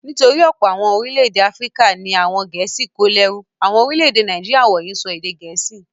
Nítorí ọ̀pọ̀ àwọn orílẹ̀-èdè Áfíríkà ni àwọn Gẹ̀ẹ́sì kó lẹ́rú. Àwọn orílẹ̀-èdè Nàìjíríà wọ̀nyí ń sọ èdè Gẹ̀ẹ́sì.